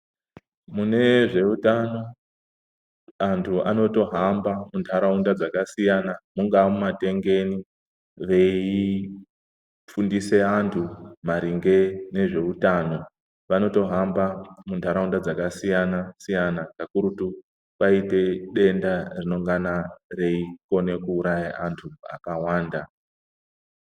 Munezveutano antu anotohamba muntaraunda dzakasiyana mungaa mumatengeni veifundise antu maringe nezveutano. Vanotohamba muntaraunda dzakasiyana siyana kakurutu kana kwaite denda reingana reikone kuuraya antu akawanda.